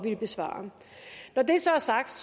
at besvare når det så er sagt